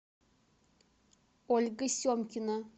ольга семкина